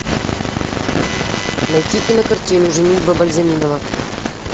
найти кинокартину женитьба бальзаминова